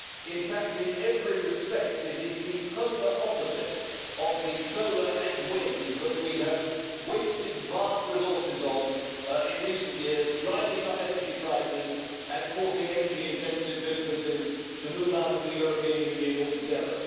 In fact, in every respect, it is the polar opposite of the solar and wind that we have wasted vast resources on in recent years, driving up energy prices and forcing energy-intensive businesses to move out of the European Union altogether.